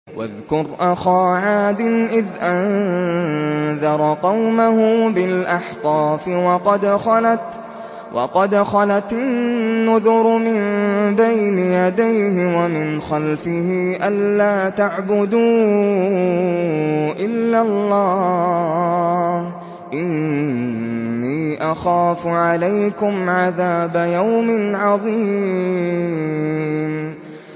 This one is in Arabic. ۞ وَاذْكُرْ أَخَا عَادٍ إِذْ أَنذَرَ قَوْمَهُ بِالْأَحْقَافِ وَقَدْ خَلَتِ النُّذُرُ مِن بَيْنِ يَدَيْهِ وَمِنْ خَلْفِهِ أَلَّا تَعْبُدُوا إِلَّا اللَّهَ إِنِّي أَخَافُ عَلَيْكُمْ عَذَابَ يَوْمٍ عَظِيمٍ